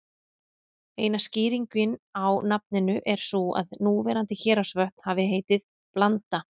Eina skýringin á nafninu er sú að núverandi Héraðsvötn hafi heitið Blanda.